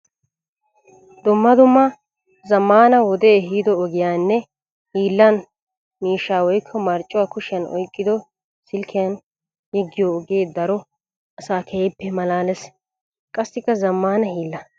Dumma dumma zamaana wode ehiido ogiyaninne hiillan miishsha woykko marccuwa kushiyan oyqqiddo silkkiyan yeddiyo ogee daro asaa keehippe malaalees. Qassikka zamaana hiilla.